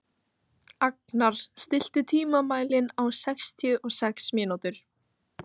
Agnar, stilltu tímamælinn á sextíu og sex mínútur.